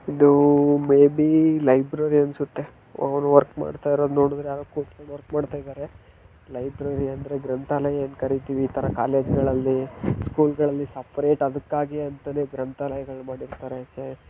ಇದು baby library ಅನ್ಸುತ್ತೆ ಅವರು ವರ್ಕ್ ಮಾಡ್ತಾ ನೋಡಿದ್ರೆ ಯಾರು ಕುತ್ಕೊಂಡು ವರ್ಕ್ ಮಾಡುತ್ತಾ ಇದರೆ ಲೈಬ್ರೆ ಅಂದರೆ ಗ್ರಂಥಾಲಯದ ಕಾಲೇಜುಗಳಲ್ಲಿ ಸ್ಕೂಲ್ ಗಳಲ್ಲಿ ಸಫ್ರಾಟ್